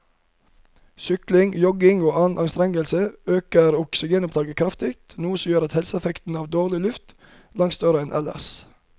Sykling, jogging og annen anstrengelse øker oksygenopptaket kraftig, noe som gjør helseeffekten av dårlig luft langt større enn ellers.